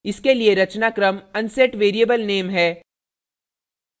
इसके लिए रचनाक्रम unset variablename है